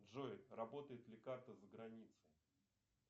джой работает ли карта за границей